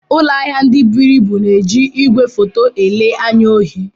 Ụlọ ahịa ndị buru ibu na-eji igwefoto ele anya ohi.